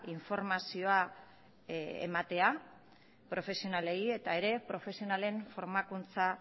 informazio ematea profesionalei eta baita profesionalen formakuntza